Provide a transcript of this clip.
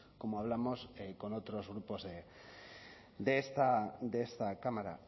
como hablamos con otros grupos de esta cámara